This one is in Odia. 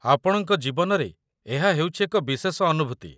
ଆପଣଙ୍କ ଜୀବନରେ ଏହା ହେଉଛି ଏକ ବିଶେଷ ଅନୁଭୂତି